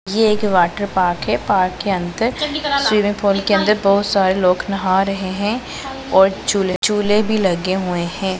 यह एक water park है पार्क के अंदर स्विमिंग पूल के अंदर बहुत सारे लोग नहा रहे हैं और झूले झूले भी लगे हुए हैं।